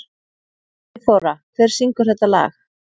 Friðþóra, hver syngur þetta lag?